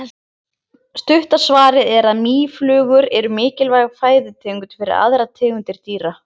Stutta svarið er að mýflugur eru mikilvæg fæðutegund fyrir aðrar tegundir dýra.